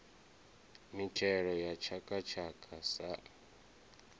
mitshelo ya tshaka tshaka sa